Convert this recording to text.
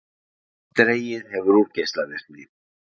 Dregið hefur úr geislavirkni